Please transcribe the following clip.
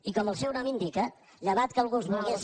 i com el seu nom indica llevat que algú els volgués